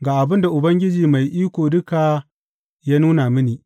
Ga abin da Ubangiji Mai Iko Duka ya nuna mini.